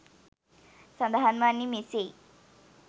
සඳහන් වන්නේ මෙසේයි.